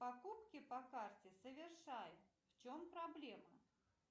покупки по карте совершай в чем проблема